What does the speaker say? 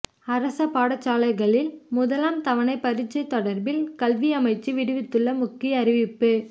அரச பாடசாலைகளில் முதலாம் தவணை பரீட்சை தொடர்பில் கல்வியமைச்சு விடுத்துள்ள முக்கிய அறிவிப்பு